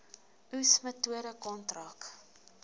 oes metode kontrak